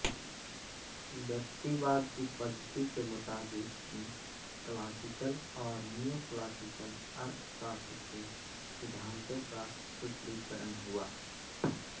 व्यक्तिवाद की पद्धति के मुताबिक ही क्लासिकल और नियोक्लासिकल अर्थशास्त्र के सिद्धांतों का सूत्रीकरण हुआ